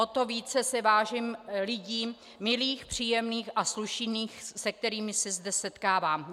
O to více si vážím lidí milých, příjemných a slušných, s kterými se zde setkávám.